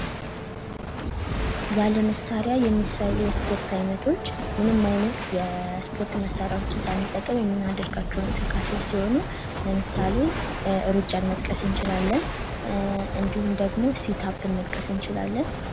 ለመሳሪያ የሚሰሩ የስፖርት ዓይነቶች ምንም ዓይነት የስፖርት መሣሪያዎችን ሳንጠቀም የምናደርጋቸው እንቅስቃሴዎች ሲሆኑ ለምሳሌ ሩጫን መጥቀስ እንችላለን እንዲሁም ደግሞ ሲታፕን መጥቀስ እንችላለን፡፡